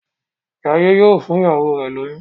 Jaiye yíò fún ìyàwó rẹ lóyún.